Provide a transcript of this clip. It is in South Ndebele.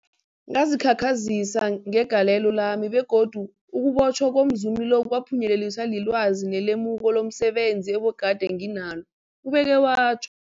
Ngazikhakhazisa ngegalelo lami, begodu ukubotjhwa komzumi lo kwaphunyeleliswa lilwazi nelemuko lomse benzi ebegade nginalo, ubeke watjho.